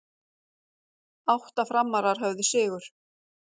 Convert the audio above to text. Átta Framarar höfðu sigur